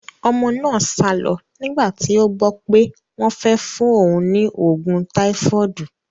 Ọmọ náà sálo nígbà tí ó gbó pé wón fẹ́ fún òun ní oògùn táífọ́ọ̀dù.